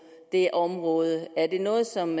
det område er det noget som